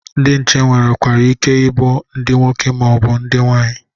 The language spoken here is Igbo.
Ndị nche nwerekwara ike ịbụ ndị nwoke ma ọ bụ ndị nwaanyị.